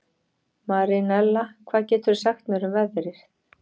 Marinella, hvað geturðu sagt mér um veðrið?